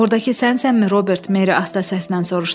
Ordakı sənsənmi Robert, Meri asta səslən soruşdu.